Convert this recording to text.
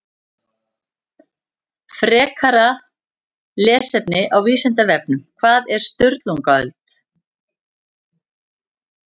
Frekara lesefni á Vísindavefnum Hvað var Sturlungaöld?